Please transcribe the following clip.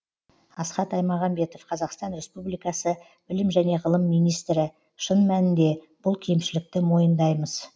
асхат аймағамбетов қазақстан республикасы білім және ғылым министрі шын мәнінде бұл кемшілікті мойындаймыз